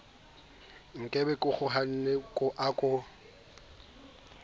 nkabe ke kgaohana a ko